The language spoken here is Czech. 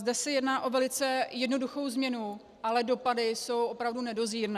Zde se jedná o velice jednoduchou změnu, ale dopady jsou opravdu nedozírné.